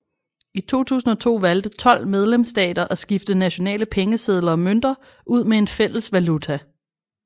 I 2002 valgte 12 medlemsstater at skifte nationale pengesedler og mønter ud med en fælles valuta